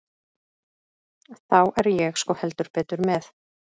Þá er ég sko heldur betur með.